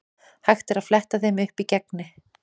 Hægt er að fletta þeim upp í Gegni.